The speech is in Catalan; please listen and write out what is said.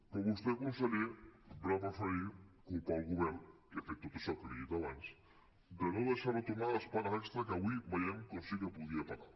però vostè conseller va preferir culpar el govern que ha fet tot això que li he dit abans de no deixar retornar les pagues extres que avui veiem que sí que podia pagar